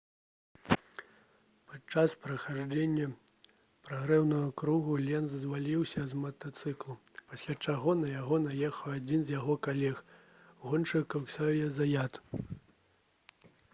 падчас праходжання прагрэўнага кругу ленц зваліўся з матацыклу пасля чаго на яго наехаў адзін з яго калег-гоншчыкаў ксаўе заят